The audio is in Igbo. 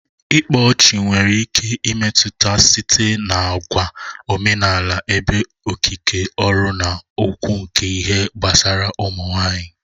Ngele/ịkpa ọchị nwere ike imetụta site n'àgwà omenala ebe okike ọrụ na okwu nke ihe gbasara ụmụ nwanyị